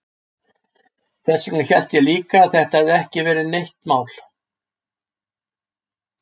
Þess vegna hélt ég líka að þetta hefði ekki verið neitt mál.